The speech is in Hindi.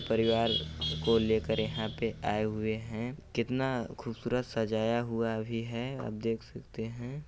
परिवार को लेकर यहाँ पे आए हुए है कितना खूबसूरत सजाया हुवा भी है आप देख सकते हैं।